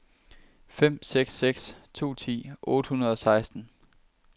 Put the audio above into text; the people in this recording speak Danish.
fem seks seks to ti otte hundrede og seksten